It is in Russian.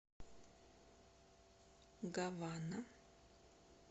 гавана